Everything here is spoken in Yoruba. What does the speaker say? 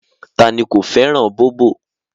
Ta ni ko fẹ́ràn bóbọ̀